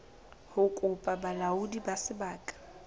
ho kopa bolaodi ba sebaka